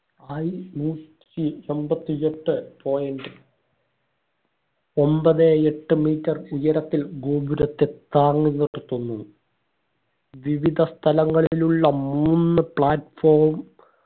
IUC എമ്പതി എട്ട് point ഒമ്പതേ എട്ട് metre ഉയരത്തിൽ ഗോപുരത്തെ താങ്ങുന്നത് തോന്നു വിവിധ സ്ഥലങ്ങളിലുള്ള മൂന്ന് platform